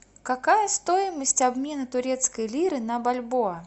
какая стоимость обмена турецкой лиры на бальбоа